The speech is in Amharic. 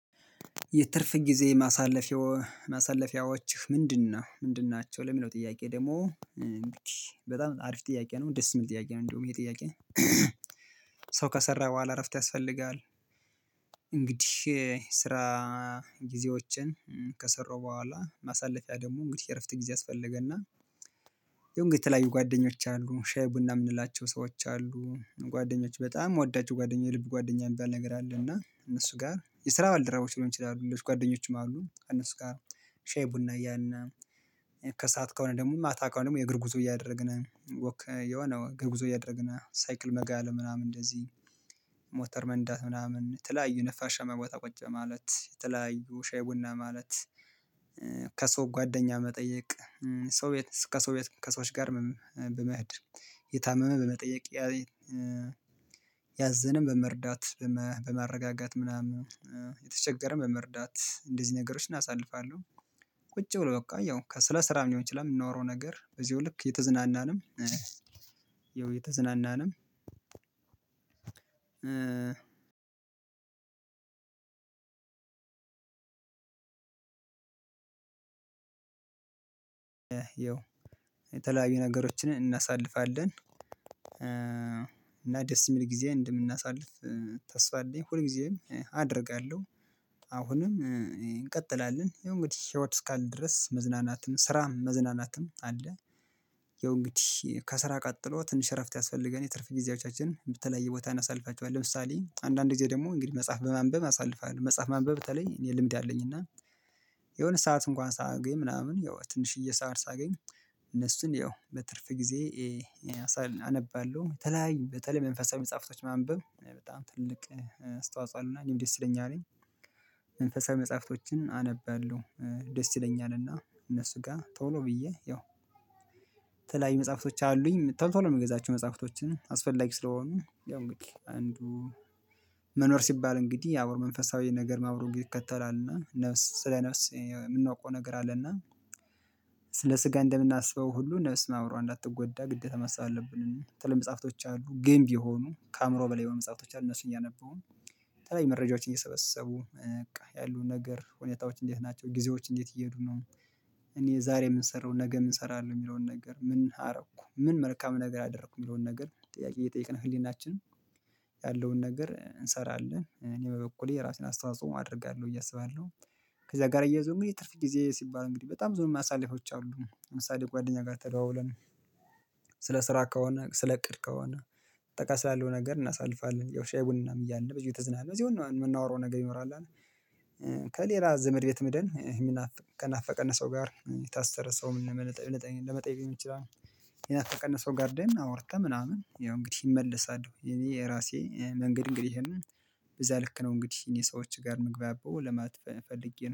የትርፍ ጊዜ ማሳለፊያ ማሳለፊያዎችህ ምንድነው ምንድን ናቸው? ለሚለው ጥያቄ ደግሞ እንግዲህ በጣም አሪፍ ጥያቄ ነው ደስ የሚል ጥያቄ ነው እንደውም ይሄ ጥያቄ ሰው ከሰራ በኋላ እረፍት ያስፈልጋል እንግዲህ ስራ ጊዜዎችን ከሰራሁ በኋላ ማሳለፊያ ደግሞ እንግዲህ የእረፍት ጊዜ ያስፈልገና የሆነ የተለያዩ ጓደኞች አሉ፣ ሻይ ቡና የምንላቸው ሰዎች አሉ፣ ጓደኞች በጣም ወዳጅ ጓደኛ ልብ ጓደኛ የሚባል ነገር እነሱ ጋር የስራ ባልደራቦች ሊሆን ይችላሉ ሌሎች ጓደኞችም አሉ እነሱ ጋር ሻይ ቡና እያልነ ከሰአት ከሆነ ደግሞ ማታ ከሆነ ደግሞ የእግር ጉዞ እያደረግን ወክ የሆነ እግር ጉዞ እያደረግን ሳይክል መጋለብ ምናምን እንደዚህ ሞተር መንዳት ምናምን የተለያዩ ነፋሻማ ቦታ ቁጭ በማለት የተለያዩ ሻይ ቡና በማለት ከሰው ጓደኛ መጠየቅ ሰው ከሰው ከሰው ከሰዎች ጋር በመሄድ የታመመ በመጠየቅ ያዘነንም በመርዳት በማረጋጋት ምናምን የተቸገረንም በመርዳት እንደዚህ ነገሮችን አሳልፋለሁ ቁጭ ብሎ በቃ ያው ስለ ስራ የሚሆን ይችላል የምናወራው ነገር በዚሁ ልክ እየተዝናናንም ያው እየተዝናናንም ነገሮችን እናሳልፋለን፣ እና ደስ የሚል ጊዜ እንደምናሳልፍ ተስፋ አለኝ ሁል ጊዜም አደርጋለሁ አሁንም እንቀጥላለን ያው እንግዲህ ህይወት እስካለ ድረስ መዝናናትም ስራም መዝናናትም አለ ያው እንግዲህ ከስራ ቀጥሎ ትንሽ እረፍት ያስፈልገን የትርፍ ጊዜያችን በተለያየ ቦታ እናሳልፋቸዋለን ለምሳሌ አንዳንድ ጊዜ ደግሞ እንግዲህ መጽሐፍ በማንበብ አሳልፋለሁ መጽሐፍ ማንበብ በተለይ እኔ ልምድ አለኝ እና የሆነ ሰዓት እንኳን ሳገኝ ምናምን ያው ትንሽዬ ሰዓት ሳገኝ እነሱን ያው በትርፍ ጊዜ አነባለሁ የተለያዩ በተለይ መንፈሳዊ መጽሐፍቶች ማንበብ በጣም ትልቅ አስተዋጽኦ አለዉና እና እኔም ደስ ይለኛል መንፈሳዊ መጽሐፍቶችን አነባለሁ ደስ ይለኛል እና እነሱ ጋር ቶሎ ብዬ ያው የተለያይ መጽሐፍቶች አሉኝ ቶሎ ቶሎ የምገዛቸው መጽሐፍቶችን አስፈላጊ ስለሆኑ ያው እንግዲህ አንዱ መኖር ሲባል እንግዲህ አብሮ መንፈሳዊ ነገር አብሮም ይከተላልና ነፍስ ስለ ነፍስ የምናውቀው ነገር አለና ስለ ስጋ እንደምናስበው ሁሉ ነፍስ አብራ እንዳትጎዳ ግዴታ ምሰብ አለብን የተለያዩ መጽሐፍቶች አሉ ግን ቢሆኑም ከአእምሮ በላይ መጽሐፍቶች አሉ እነሱን ያነበቡ በተለይ መረጃዎችን እየሰበሰቡ በቃ ያሉን ነገር ሁኔታዎች እንዴት ናቸው ጊዜዎች እንዴት እየሄዱ ነው እኔ ዛሬ ምን ሰራሁ ነገ ምን እሰራለሁ የሚለውን ነገር ምን አረኩ ምን መልካም ነገር አደረኩ የሚለውን ነገር ጥያቄ እየጠየቅን ህሊናችን ያለውን ነገር እንሰራለን እኔ በበኩሌ የራሴን አስተዋጽኦ አደርጋለሁ ብዬ አስባለሁ ከዛ ጋር እያይዞ እንግዲህ ትርፍ ጊዜ ሲባል እንግዲህ በጣም ዞር ማሳለፊያዎች አሉ ለምሳሌ ጓደኛ ጋር ተደዋውለን ስለ ስራ ከሆነ ስለ እቅድ ከሆነ ጠቃ ስላለው ነገር እናሳልፋለን ያው ሻይ ቡናም እያልን በዚህ እየተዝናናን በዚያው የምናወራው ነገር ይኖራል አለ ከሌላ ዘመድ ቤት ሄደን ከናፈቀን ሰው ጋር የታሰረ ሰውም ለመጠየቅ ለመጠየቅም ሊሆን ይችላል የናፈቀንን ሰው ጋር ሄደን አዉርተን ምናምን ያው እንግዲህ እመለሳለሁ የኔ የራሴ መንገድ እንግዲህ ይሄ ነው በዛ ልክ ነው እንግዲህ እኔ ከሰዎች ጋር ምግባባው ለማለት ፈልጌ ነው።